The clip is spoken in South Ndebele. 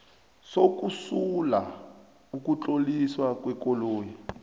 sokusula ukutloliswa kwekoloyi